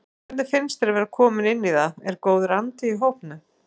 Hvernig finnst þér að vera kominn inn í það, er góður andi í hópnum?